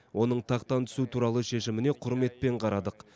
оның тақтан түсу туралы шешіміне құрметпен қарадық